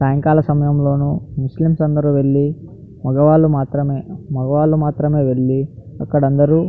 సాయంకాల సమయం లోను ముస్లిమ్స్ అందరూ వెళ్లి మగవాళ్లు మాత్రమే మగవాళ్లు మాత్రమే వెళ్లి అక్కడ అందరూ --